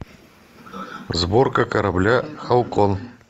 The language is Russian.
сборка корабля халкон